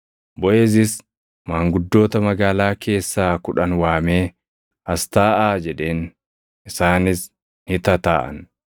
Boʼeezis maanguddoota magaalaa keessaa kudhan waamee, “As taaʼaa” jedheen; isaanis ni tataaʼan.